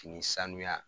Fini sanuya